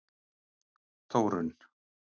Þórunn